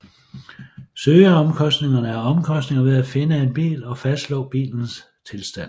Søgeomkostningerne er omkostningen ved at finde en bil og fastslå bilens tilstand